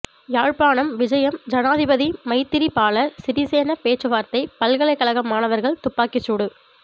யாழ்ப்பாணம் விஜயம் ஜனாதிபதி மைத்திரிபால சிறிசேன பேச்சுவார்த்தை பல்கலைக்கழக மாணவர்கள் துப்பாக்கி சூடு